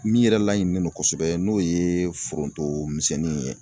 Min yɛrɛ laɲininen don kosɛbɛ n'o ye foronto misɛnnin ye.